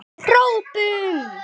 Við hrópum!